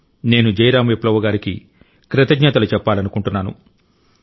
నేను జైరామ్ విప్లవ్ గారికి కృతజ్ఞతలు చెప్పాలనుకుంటున్నాను